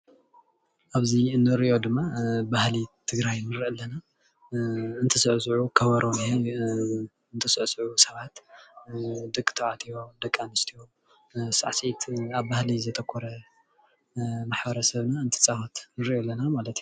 ኣብዚ እንሪኦ ድማ ባህሊ ትግራይ ንርኢ ኣለና፡፡ ከበሮ ሒዞም እንትስዕስዑ ሰባት ደቂ ተባልዕትዮ ደቂ ኣነስትዮ ሳዕሲዕት ኣብ ባህሊ ዘተኮረ ማሕበረሰብና እንትፃወት ንርኢ ኣለና ማለት እዩ፡፡